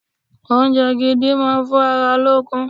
Oúnjẹ gidi máa ń fún ara lókun.